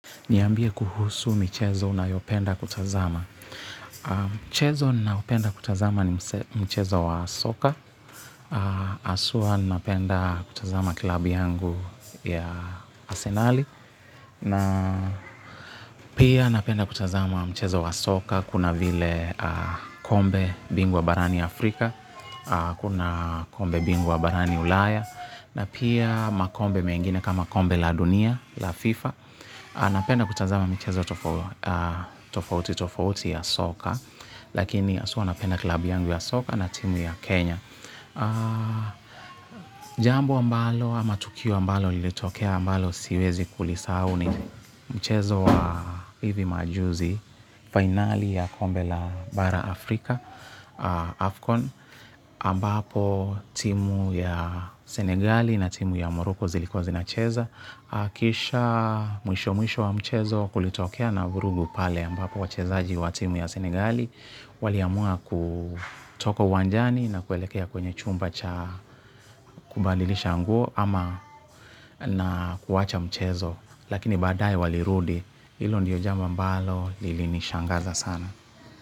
Niambie kuhusu michezo unayopenda kutazama. Mchezo ninaopenda kutazama ni mchezo wa soka. Aswa ninapenda kutazama klabi yangu ya asenali. Na pia napenda kutazama mchezo wa soka. Kuna vile kombe bingwa barani Afrika. Kuna kombe bingwa barani Ulaya. Na pia makombe mengine kama kombe la dunia, la FIFA. Anapenda kutazama michezo tofauti tofauti ya Soka. Lakini haswa napenda club yangu ya soka na timu yangu ya kenya. Jambo ambalo ama tukio ambalo lilitokea ambalo siwezi kulisahau ni mchezo wa hivi majuzi finali ya kombe la Bara Afrika Afcon Ambapo timu ya Senegali na timu ya Moroko zilikuwa zinacheza. Akisha mwisho mwisho wa mchezo kulitokea na vurugu pale ambapo wachezaji wa timu ya Senigali Waliamua kutoka uwanjani na kuelekea kwenye chumba cha kubadilishanguo ama na kuwacha mchezo. Lakini baadae walirudi hilo ndio jambo ambalo lili nishangaza sana.